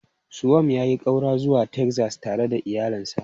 Suwam ya yi ƙaura zuwa Texas tare da iyalinsa.